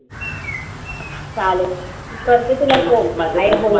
चालेल. मी करते तुला phone.